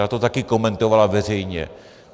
Ta to taky komentovala veřejně.